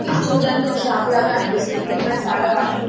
ఇది చూడ్డానికి ఒక షాప్ లాగ అనిపిస్తుంది ఇక్కడ చాలా వాషింగ్ --